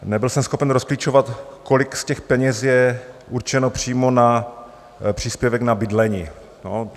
Nebyl jsem schopen rozklíčovat, kolik z těch peněz je určeno přímo na příspěvek na bydlení.